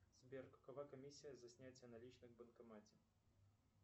сбер какова комиссия за снятие наличных в банкомате